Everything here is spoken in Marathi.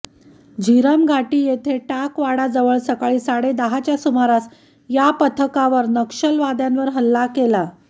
झीरम घाटी येथे टाकवाडाजवळ सकाळी साडे दहाच्या सुमारास या पथकावर नक्षलवाद्यांवर हल्ला केला